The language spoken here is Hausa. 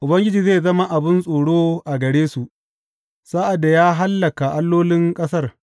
Ubangiji zai zama abin tsoro a gare su sa’ad da ya hallaka allolin ƙasar.